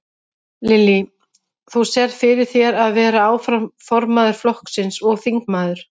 Lillý: Þú sérð fyrir þér að vera áfram formaður flokksins og þingmaður?